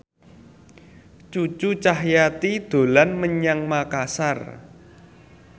Cucu Cahyati dolan menyang Makasar